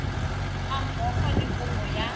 ga mmogo le kopo ya